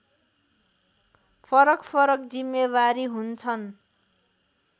फरकफरक जिम्मेवारी हुन्छन्